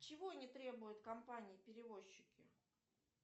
чего не требуют компании перевозчики